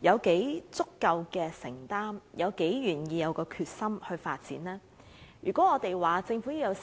有多足夠的承擔，以及多大決心進行發展，實成疑問。